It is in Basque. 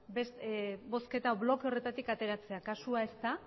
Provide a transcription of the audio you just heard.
bozketa bloke horretatik ateratzera kasua ez da